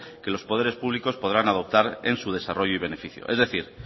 que los poderes públicos podrán adoptar en su desarrollo y beneficio es decir